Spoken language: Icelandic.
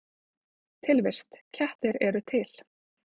Tilvist: Kettir eru til